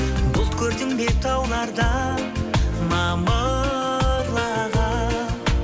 бұлт көрдің бе таулардан мамырлаған